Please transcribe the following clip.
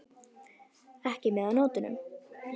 Ekki með á nótunum.